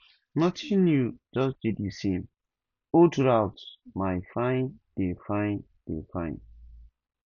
nothing new just di same old route my fine dey fine dey fine